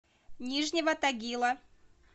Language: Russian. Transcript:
нижнего тагила